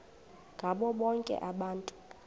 ngabo bonke abantu